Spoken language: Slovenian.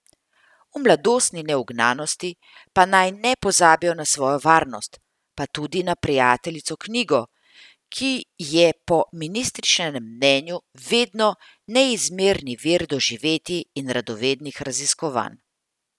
V mladostni neugnanosti pa naj ne pozabijo na svojo varnost, pa tudi na prijateljico knjigo, ki je po ministričinem mnenju vedno neizmerni vir doživetij in radovednih raziskovanj.